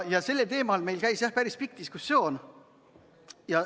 Sellel teemal käis meil päris pikk diskussioon.